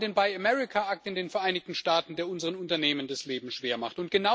Wir haben den Buy American Act in den Vereinigten Staaten, der unseren Unternehmen das Leben schwer macht.